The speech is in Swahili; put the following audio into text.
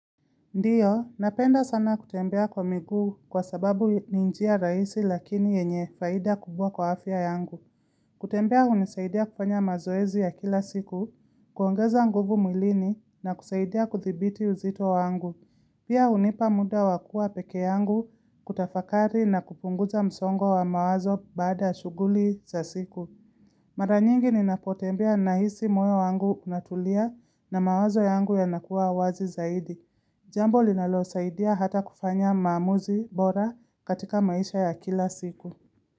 Ndiyo, napenda sana kutembea kwa miguu kwa sababu ni njia rahisi lakini yenye faida kubwa kwa afya yangu. Kutembea hunisaidia kufanya mazoezi ya kila siku, kuongeza nguvu mwilini na kusaidia kuthibiti uzito wangu. Pia hunipa muda wakuwa peke yangu kutafakari na kupunguza msongo wa mawazo baada shughuli za siku. Maranyingi ninapotembea nahisi moyo wangu unatulia na mawazo yangu yanakuwa wazi zaidi. Jambo linalo saidia hata kufanya maamuzi bora katika maisha ya kila siku.